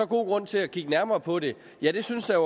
god grund til at kigge nærmere på det ja det synes der